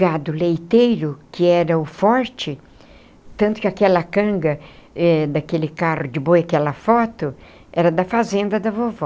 gado leiteiro, que era o forte, tanto que aquela canga eh daquele carro de boi, aquela foto, era da fazenda da vovó.